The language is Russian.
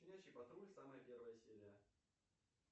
щенячий патруль самая первая серия